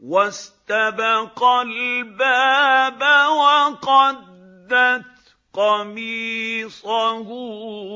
وَاسْتَبَقَا الْبَابَ وَقَدَّتْ قَمِيصَهُ